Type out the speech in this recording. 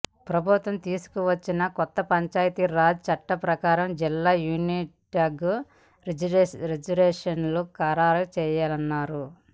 ప్రభుత్వం తీసుకొచ్చిన కొత్త పంచాయతీరాజ్ చట్టం ప్రకారం జిల్లా యూనిట్గా రిజర్వేషన్లను ఖారారు చేయనున్నారు